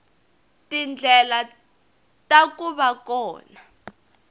tindlela ta ku va kona